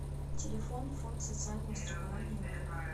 телефон фонд социального страхования рф